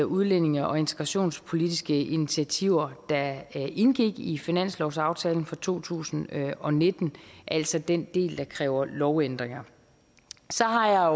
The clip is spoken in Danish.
udlændinge og integrationspolitiske initiativer der indgik i finanslovaftalen for to tusind og nitten altså den del der kræver lovændringer så har jeg